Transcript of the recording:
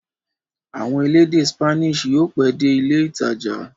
Àwọn elédè Spanish yóò pẹ́ dé ilé-ìtajà.